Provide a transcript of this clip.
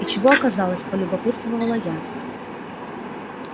и чего оказалось полюбопытствовала я